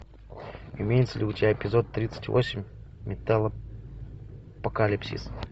имеется ли у тебя эпизод тридцать восемь металлопокалипсис